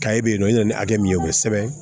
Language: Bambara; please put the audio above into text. bɛ yen nɔ i bɛna ni hakɛ min ye o bɛ sɛbɛn